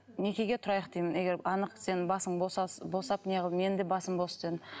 некеге тұрайық деймін егер анық сенің басың босап менің де басым бос дедім